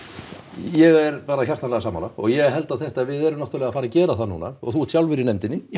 ég er bara hjartanlega sammála og ég held að þetta við erum náttúrulega að fara að gera þetta núna og þú ert sjálfur í nefndinni